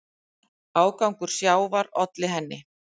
Ágangur sjávar olli henni.